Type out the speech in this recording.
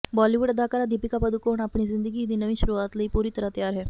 Bollywood ਅਦਾਕਾਰਾ ਦੀਪਿਕਾ ਪਾਦੂਕੋਣ ਆਪਣੀ ਜ਼ਿੰਦਗੀ ਦੀ ਨਵੀਂ ਸ਼ੁਰੂਆਤ ਲਈ ਪੂਰੀ ਤਰ੍ਹਾਂ ਤਿਆਰ ਹੈ